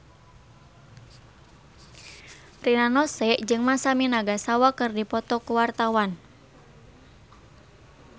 Rina Nose jeung Masami Nagasawa keur dipoto ku wartawan